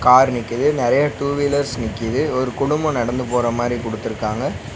Car நிக்கிது நெறைய two wheelers நிக்கிது ஒரு குடும்போ நடந்து போற மாரி குடுத்துருக்காங்க.